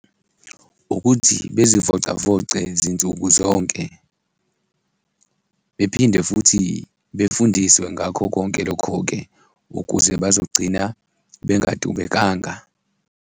Ukuthi bezivocavoce zinsuku zonke bephinde futhi befundiswe ngakho konke lokho-ke ukuze bazogcina bengadubekanga.